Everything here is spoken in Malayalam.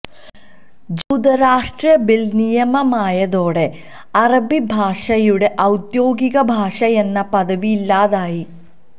ജൂതരാഷ്ട്ര ബില് നിയമമായതോടെ അറബി ഭാഷയുടെ ഔദ്യോഗിക ഭാഷയെന്ന പദവി ഇല്ലാതായി